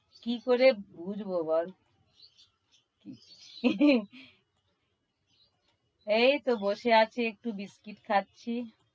কি করে বুঝব বল? এই তো বসে আছি একটু biscuit খাচ্ছি।